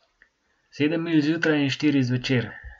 Sedem milj zjutraj in štiri zvečer.